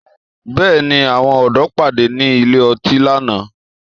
Bẹ́ẹ̀ni, àwọn ọ̀dọ́ pàdé ní ilé ọtí lánàá